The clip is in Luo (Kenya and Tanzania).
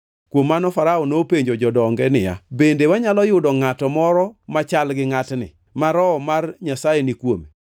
Kuom mano Farao nopenjo jodonge niya, “Bende wanyalo yudo ngʼato moro machal gi ngʼatni, ma Roho mar Nyasaye ni kuome?”